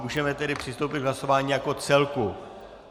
Můžeme tedy přistoupit k hlasování jako celku.